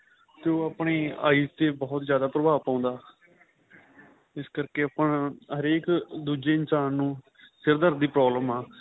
ਤੇ ਉਹ ਆਪਣੀ eyes ਤੇ ਬਹੁਤ ਜਿਆਦਾ ਪ੍ਰਭਾਵ ਪਾਉਦਾ ਇਸ ਕਰਕੇ ਆਪਾਂ ਹਰੇਕ ਦੂਜੇ ਇਨਸ਼ਾਨ ਨੂੰ ਸਿਰ ਦਰਦ ਦੀ problem ਆਂ